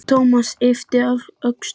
Thomas yppti öxlum.